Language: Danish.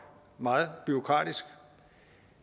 meget bureaukratisk